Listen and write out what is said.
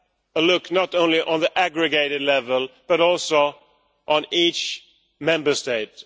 a look not only on the aggregated level, but also at each Member State.